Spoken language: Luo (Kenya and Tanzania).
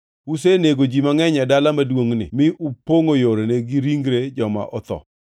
Usenego ji mangʼeny e dala maduongʼni mi upongʼo yorene gi ringre joma otho.